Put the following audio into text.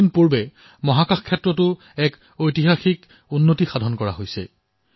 কিছু দিন পূৰ্বে মহাকাশ খণ্ডত এক ঐতিহাসিক সংশোধন কৰা হৈছে